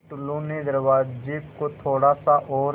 फ़िर टुल्लु ने दरवाज़े को थोड़ा सा और